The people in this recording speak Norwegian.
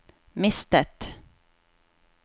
mistet